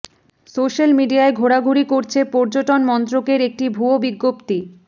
social মিডিয়ায় ঘোরাঘুরি করছে পর্যটন মন্ত্রকের একটি ভুয়ো বিজ্ঞপ্তি